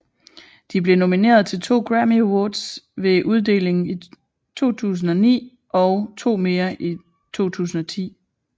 De blev nomineret til to Grammy Awards ved uddelingen i 2009 og to mere i 2010